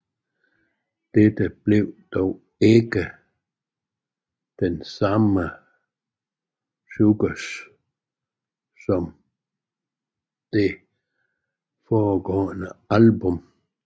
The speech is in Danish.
Dette blev dog ikke den samme succes som det foregående album